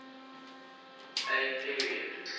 a period